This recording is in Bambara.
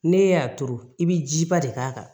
Ne y'a turu i bɛ jiba de k'a kan